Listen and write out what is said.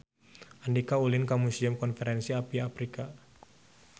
Andika ulin ka Museum Konferensi Asia Afrika